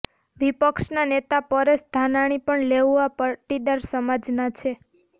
વિપક્ષના નેતા પરેશ ધાનાણી પણ લેઉવા પાટીદાર સમાજના છે